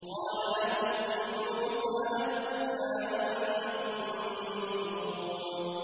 قَالَ لَهُم مُّوسَىٰ أَلْقُوا مَا أَنتُم مُّلْقُونَ